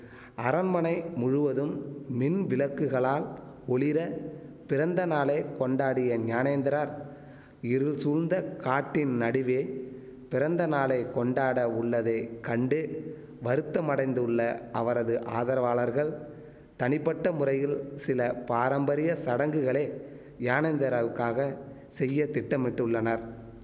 அரண்மனை முழுவதும் மின் விளக்குகளால் ஒளிர பிறந்த நாளை கொண்டாடிய ஞானேந்திரார் இருள் சூழந்த காட்டின் நடுவே பிறந்த நாளை கொண்டாட உள்ளதை கண்டு வருத்தமடைந்துள்ள அவரது ஆதரவாளர்கள் தனிப்பட்ட முறையில் சில பாரம்பரிய சடங்குகளை யானேந்திராவுக்காக செய்ய திட்டமிட்டுள்ளனர்